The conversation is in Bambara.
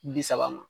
Bi saba ma